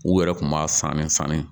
U yɛrɛ kun b'a fan bɛɛ fani